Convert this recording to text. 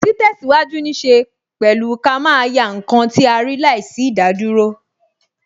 Ti tesiwaju ní ṣe pẹ̀lú ká máa yá ǹkan tí a rí láìsí idaduro